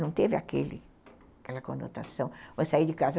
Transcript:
Não teve aquele aquela conotação de sair de casa.